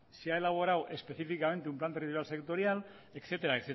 se ha elaborado específicamente un plan territorial sectorial etcétera